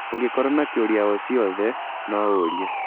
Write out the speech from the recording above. Ũngĩkorũo na kiũria o ciothe, no ũũrie.